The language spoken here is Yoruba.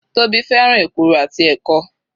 Tóbi fẹ́ràn èkuru àti ẹ̀kọ.